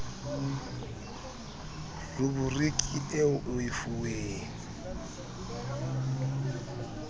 ruburiki eo o e fuweng